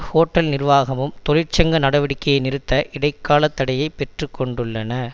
hotel நிர்வாகமும் தொழிற்சங்க நடவடிக்கையை நிறுத்த இடை கால தடையை பெற்றுக்கொண்டுள்ளன